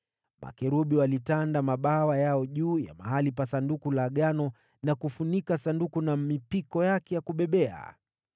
Makerubi yalitandaza mabawa yao juu ya mahali pa Sanduku la Agano na kufunika Sanduku na mipiko yake ya kubebea.